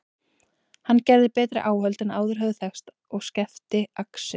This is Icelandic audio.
Hann gerði betri áhöld en áður höfðu þekkst og skefti axir.